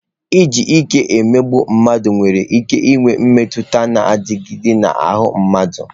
Iji ike emegbu mmadụ nwere ike inwe mmetụta na-adịgide n'ahụ mmadụ.